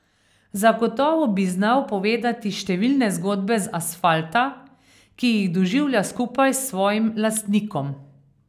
Zagotovo bi znal povedati številne zgodbe z asfalta, ki jih doživlja skupaj s svojim lastnikom.